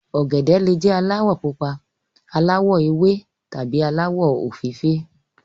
ògèdè le jé alawọ pupa ,aláwò ewé tàbí alawọ ofeefee.